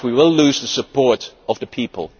Otherwise we will lose the support of the people.